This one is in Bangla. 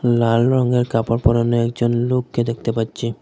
লাল রঙের কাপড় পরানো একজন লোককে দেখতে পাচ্ছি।